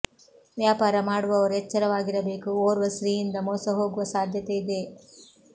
ವ್ಯಾಪಾರ ಮಾಡುವವರು ಎಚ್ಚರವಾಗಿರಬೇಕು ಓರ್ವ ಸ್ತ್ರೀಯಿಂದ ಮೋಸ ಹೋಗುವ ಸಾಧ್ಯತೆ ಇದೆ